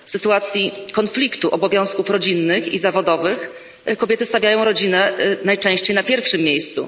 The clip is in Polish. W sytuacji konfliktu obowiązków rodzinnych i zawodowych kobiety stawiają rodzinę najczęściej na pierwszym miejscu.